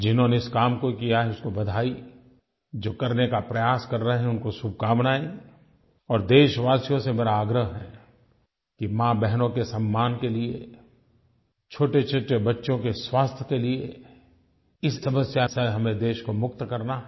जिन्होंने इस काम को किया है उनको बधाई जो करने का प्रयास कर रहे हैं उनको शुभकामनायें और देशवासियों से मेरा आग्रह है कि माँबहनों के सम्मान के लिये छोटेछोटे बच्चों के स्वास्थ्य के लिये इस समस्या से हमें देश को मुक्त करना है